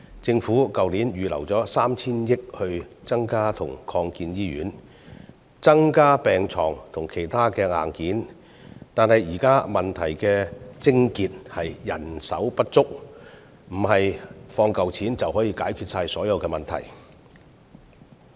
政府去年預留了 3,000 億元增建及擴建醫院，增加病床數目及其他硬件，但現在問題的癥結是人手不足，並非撥一筆錢就能解決所有問題。